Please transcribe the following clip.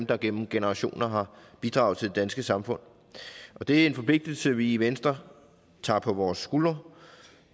der gennem generationer har bidraget til det danske samfund det er en forpligtelse vi i venstre tager på vores skuldre